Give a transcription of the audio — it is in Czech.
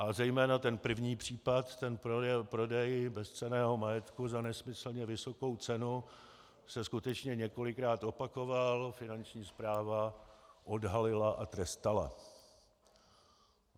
A zejména ten první případ, ten prodej bezcenného majetku za nesmyslně vysokou cenu, se skutečně několikrát opakoval, Finanční správa odhalila a trestala.